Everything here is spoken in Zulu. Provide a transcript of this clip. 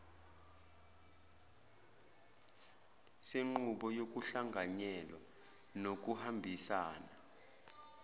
senqubo yokuhlanganyela nokuhambisana